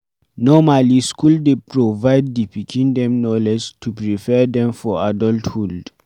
Normally school dey provide di pikim dem knowledge to prepare dem for adulthhood